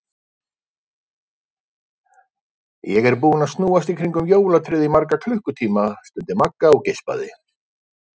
Ég er búin að snúast í kringum jólatréð í marga klukkutíma, stundi Magga og geispaði.